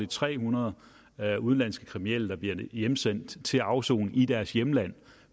tre hundrede udenlandske kriminelle der bliver hjemsendt til afsoning i deres hjemland